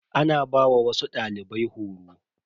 Ana ba wasu dalibai horo.